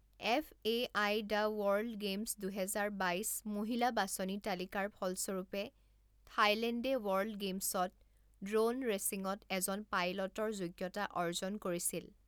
F A I the world games দুহেজাৰ বাইছ মহিলা বাছনি তালিকাৰ ফলস্বৰূপে থাইলেণ্ডে ৱৰ্ল্ড গেইমছত ড্ৰ'ন ৰেচিঙত এজন পাইলটৰ যোগ্যতা অৰ্জন কৰিছিল।